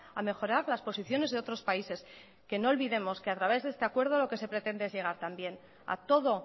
a mejorar las posiciones de otros países que no olvidemos que a través de este acuerdo lo que se pretende es llegar también a todo